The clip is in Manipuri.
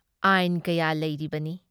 ꯑꯥꯏꯟ ꯀꯌꯥ ꯂꯩꯔꯤꯕꯅꯤ ꯫